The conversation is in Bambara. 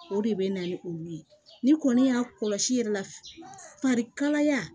O de bɛ na ni olu ye ni kɔni y'a kɔlɔsi yɛrɛ la farikalaya